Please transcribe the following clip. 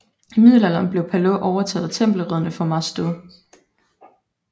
I Middelalderen blev Palau overtaget af Tempelridderne fra Mas Deu